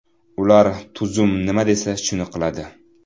Ular tuzum nima desa shuni qiladi.